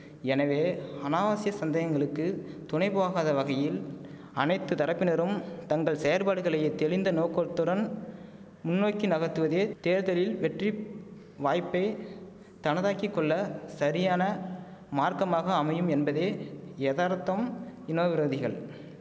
எனவே அநாவசிய சந்தேகங்களுக்கு துணை போகாத வகையில் அனைத்து தரப்பினரும் தங்கள் செயற்பாடுகளையே தெளிந்த நோக்கோத்துடன் முன்னோக்கி நகர்த்துவதே தேர்தலில் வெற்றி வாய்ப்பே தனதாக்கி கொள்ள சரியான மார்க்கமாக அமையும் என்பதே யதார்த்தம் இனோவிரோதிகள்